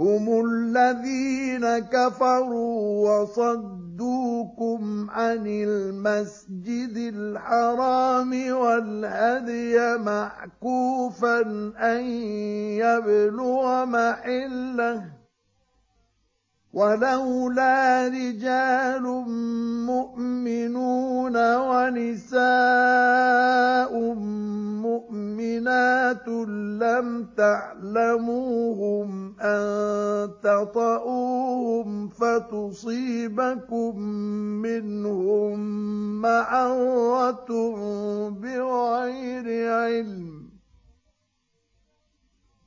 هُمُ الَّذِينَ كَفَرُوا وَصَدُّوكُمْ عَنِ الْمَسْجِدِ الْحَرَامِ وَالْهَدْيَ مَعْكُوفًا أَن يَبْلُغَ مَحِلَّهُ ۚ وَلَوْلَا رِجَالٌ مُّؤْمِنُونَ وَنِسَاءٌ مُّؤْمِنَاتٌ لَّمْ تَعْلَمُوهُمْ أَن تَطَئُوهُمْ فَتُصِيبَكُم مِّنْهُم مَّعَرَّةٌ بِغَيْرِ عِلْمٍ ۖ